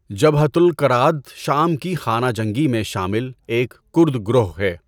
جَبہَۃُ الاَکْراد شام کی خانہ جنگی میں شامل ایک کرد گروہ ہے۔